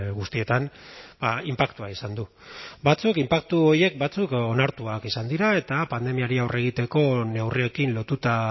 guztietan inpaktua izan du batzuk inpaktu horiek batzuk onartuak izan dira eta pandemiari aurre egiteko neurriekin lotuta